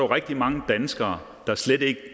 rigtig mange danskere der slet ikke